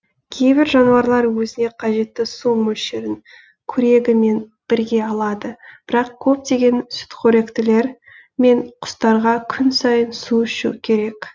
кейбір жануарлар өзіне қажетті су мөлшерін корегімен бірге алады бірақ көптеген сүтқоректілер мен құстарға күн сайын су ішу керек